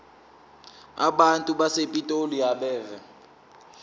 abantu basepitoli abeve